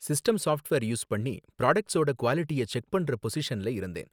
system software use பண்ணி ப்ராடக்ட்ஸோட க்குவாலிட்டிய செக் பண்ற பொசிஷன்ல இருந்தேன்